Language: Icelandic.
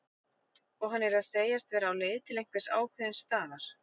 Og hann yrði að segjast vera á leið til einhvers ákveðins staðar.